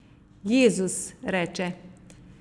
Jezus, reče.